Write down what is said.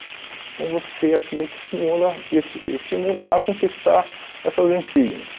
Então, você aquilo te simula te es estimula a conquistar essas insígnias.